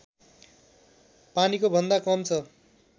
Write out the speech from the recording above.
पानीको भन्दा कम छ